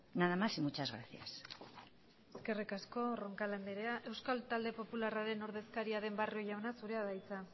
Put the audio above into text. nada más y muchas gracias eskerrik asko roncal anderea euskal talde popularraren ordezkaria den barrio jauna zurea da hitza